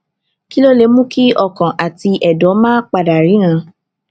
kí ló lè mú kí ọkàn àti èdò máa pa dà ríran